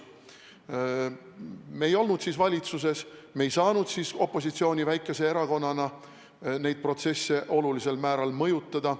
Me ei olnud siis valitsuses, me ei saanud siis opositsiooni väikese erakonnana neid protsesse olulisel määral mõjutada.